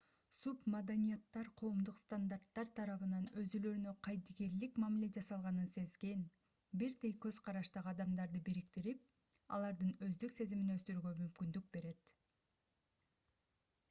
субмаданияттар коомдук стандарттар тарабынан өзүлөрүнө кайдыгерлик мамиле жасалганын сезген бирдей көз караштагы адамдарды бириктирип алардын өздүк сезимин өстүрүүгө мүмкүндүк берет